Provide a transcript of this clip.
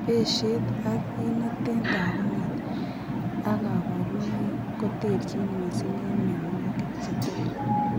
Peshet ak kit neten tagunet ak kabarunaik koterchin mising en miawagik cheter